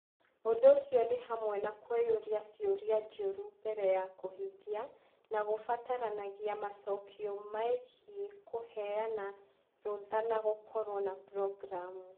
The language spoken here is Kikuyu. Ũndũ ũcio nĩ hamwe na kwĩyũria ciũria njũru mbere ya kũhingia, na kũbataranagia macokio megiĩ kũheana rũtha na gũkorũo na programu.